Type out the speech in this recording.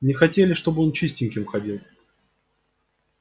не хотели чтобы он чистеньким ходил